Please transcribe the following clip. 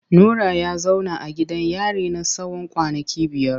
Nura ya zauna a gidan yari na tsawon kwanaki biyar.